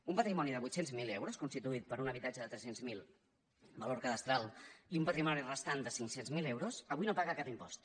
un patrimoni de vuit cents miler euros constituït per un habitatge de tres cents miler valor cadastral i un patrimoni restant de cinc cents miler euros avui no paga cap impost